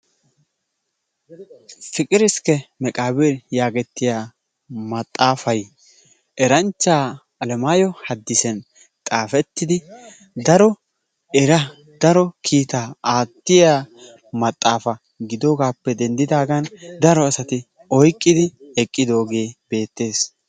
Fiqir iskke meqabir yaagetiyaa maxaafaay eranchcha Alemayo Haddisan xaafetidi daro eraa, daro kiitaa attiya maxaafaa gidogappe denddidagan daro asati oyqqidi eqqidoge beetees.